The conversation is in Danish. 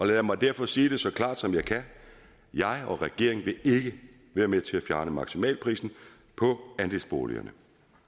lad mig derfor sige det så klart som jeg kan jeg og regeringen vil ikke være med til at fjerne maksimalprisen på andelsboligerne